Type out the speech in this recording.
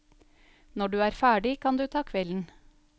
Når du er ferdig, kan du ta kvelden.